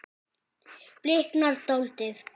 Bliknar dáldið.